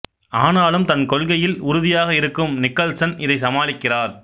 ஆனாலும் தன் கொள்கையில் உறுதியாக இருக்கும் நிக்கல்சன் இதை சமாளிக்கிறார்